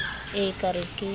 e e ka re ke